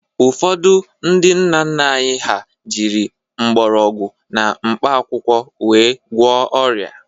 Ụfọdụ ndị nna nna anyị ha jịrị mgbọrọgwụ na mkpa akwụkwọ wee gwụọ ọrịa.